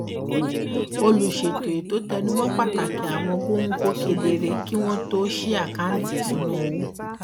olùṣètò ètò tẹnu mọ pàtàkì àwọn góńgó kedere kí wọn tó ṣí àkáǹtì ìṣúnná owó